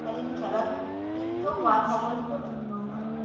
কালীন খেলত লিপ্ত হোৱাৰ সময়তহে উত্তম হয়।